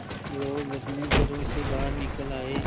लोग अपने घरों से बाहर निकल आए